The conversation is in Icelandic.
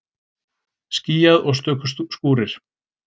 Skýjað og stöku skúrir